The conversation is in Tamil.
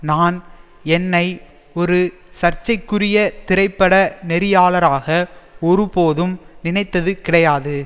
நான் என்னை ஒரு சர்ச்சைக்குரிய திரைப்பட நெறியாளராக ஒரு போதும் நினைத்தது கிடையாது